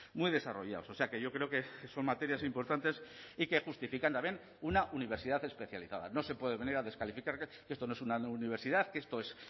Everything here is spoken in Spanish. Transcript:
muy desarrollados o sea que yo creo que son materias importantes y que justifican también una universidad especializada no se puede venir a descalificar que esto no es una universidad que esto es